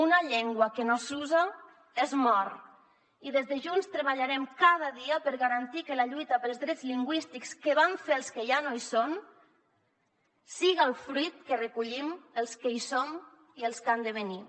una llengua que no s’usa es mor i des de junts treballarem cada dia per garantir que la lluita pels drets lingüístics que van fer els que ja no hi són siga el fruit que recollim els que hi som i els que han de venir